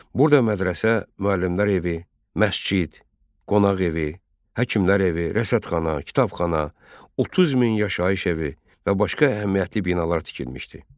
Burada mədrəsə, müəllimlər evi, məscid, qonaq evi, həkimlər evi, rəsədxana, kitabxana, 30 min yaşayış evi və başqa əhəmiyyətli binalar tikilmişdi.